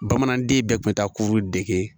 Bamananden bɛɛ kun bɛ taa kuru dege